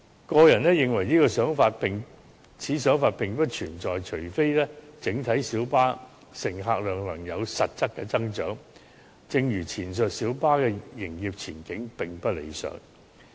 我個人認為此想法並不存在，除非整體小巴的乘客量能有實質的增長，但正如前述，小巴的營業前景是並不理想的。